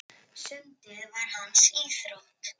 Sundið var hans íþrótt.